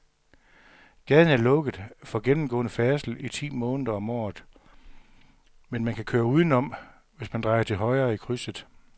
Gaden er lukket for gennemgående færdsel ti måneder om året, men man kan køre udenom, hvis man drejer til højre i krydset.